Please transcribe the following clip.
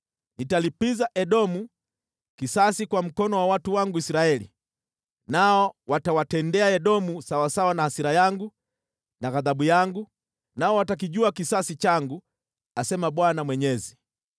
Nitalipiza Edomu kisasi kwa mkono wa watu wangu Israeli, nao watawatendea Edomu sawasawa na hasira yangu na ghadhabu yangu, nao watakijua kisasi changu, asema Bwana Mwenyezi.’ ”